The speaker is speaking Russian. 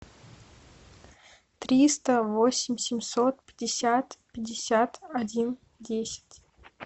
триста восемь семьсот пятьдесят пятьдесят один десять